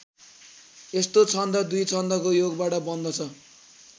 यस्तो छन्द २ छन्दको योगबाट बन्दछ।